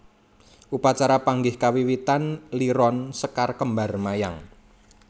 Upacara panggih kawiwitan liron sekar kembar mayang